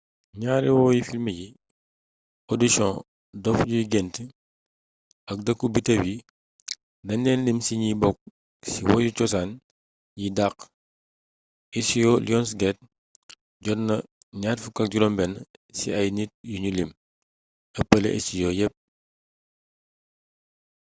ñaari woyi filmy bi audition dof yuy gént ak dëkku biddew yi dañ leen lim ci ñi bokk ci woyu cosaan yi dàq. istijoo lionsgate jot na 26 ci ay nit yuñu lim – ëppale istijoo yépp